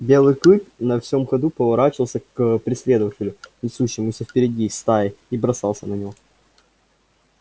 белый клык на всем ходу поворачивался к преследователю несущемуся впереди стаи и бросался на него